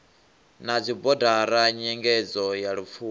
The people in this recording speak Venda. na dzibodara nyengedzo ya lupfumo